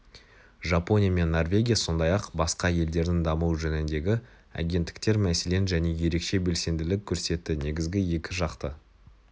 жапония мен норвегия сондай-ақ басқа елдердің дамуы жөніндегі агенттіктер мәселен және ерекше белсенділік көрсетті негізгі екі жақты